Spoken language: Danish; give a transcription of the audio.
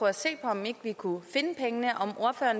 at se på om vi ikke kunne finde pengene